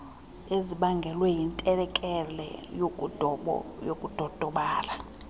ezibangelwe yintlekele yokudodobala